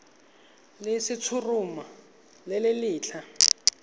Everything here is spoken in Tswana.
le letshoroma le le setlha